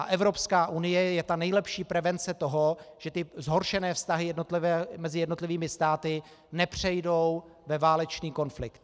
A Evropská unie je ta nejlepší prevence toho, že ty zhoršené vztahy mezi jednotlivými státy nepřejdou ve válečný konflikt.